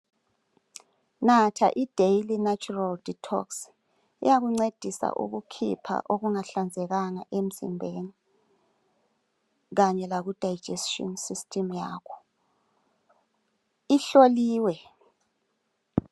Natha iDaily natural detox iyakuncedisa ukukhipha okungahlanzekanga emzimbeni kanye lakudigestion system yakho ihloliwe.